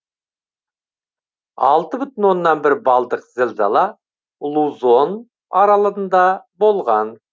алты бүтін оннан бір балдық зілзала лузон аралында болған